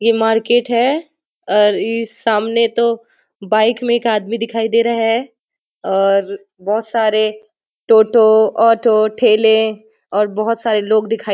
ये मार्केट है और ई सामने तो बाइक में एक आदमी दिखाई दे रहे है और बहुत सारे टोटो ऑटो ठेले और बहुत सारे लोग दिखाई --